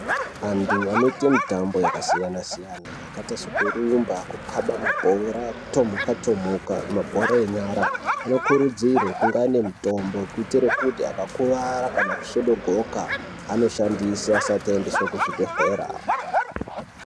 Antu anoite mutambo yakasiyana-siyana yakaita sokurumba, kukaba mabhora, kutomhuka-tomhuka, mabhora enyara anokurudzirwe kunge anemutombo kuitire kuti akakuvara kana kusvodogoka anoshandisa asati aendeswe kuzvibhedhlera.